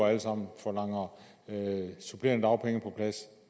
alle sammen forlanger supplerende dagpenge på plads